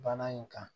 Bana in kan